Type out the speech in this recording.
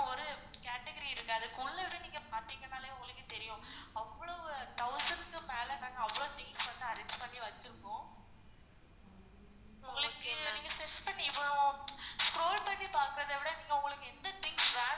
ஒரு catagery இருக்கு அதுக்கு உள்ளவே நீங்க உங்களுக்கு தெரியும் அவ்ளோ thousands கு மேல நாங்க அவ்ளோ things வந்து arrange பண்ணி வச்சிருக்கோம். உங்களுக்கு நீங்க scroll பண்ணி பாக்குறத விட உங்களுக்கு எந்த things